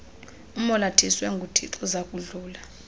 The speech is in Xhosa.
umolathiswe nguthixo zakudlula